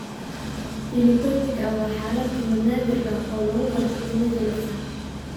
Pili tortika waa xaalad timo naadir ah oo lagu garto timo jilicsan.